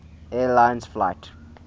air lines flight